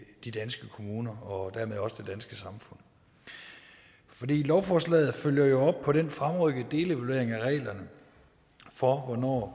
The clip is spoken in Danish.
de danske kommuner og dermed også det danske samfund lovforslaget følger jo op på den fremrykkede delevaluering af reglerne for hvornår